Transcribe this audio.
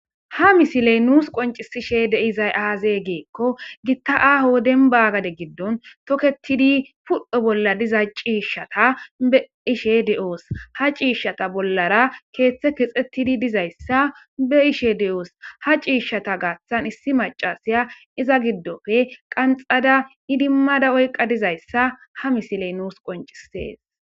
Ha misiley nuus qoncisishe de'izay aaze giiko gita aaho dembba gade giddon toketidi pudho bolla diza ciishshata be'ishe de'oos. Ha ciishshata bollara keeththe keexetidi dizayssa be'ishe de'oos. Ha ciishankka issi maccasiya iza giddoppe qanxxada idimada oyqqa dizayssa ha misiley nuus qonccisees.